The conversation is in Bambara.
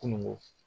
Kununko